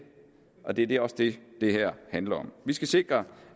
og det er også det det her handler om vi skal sikre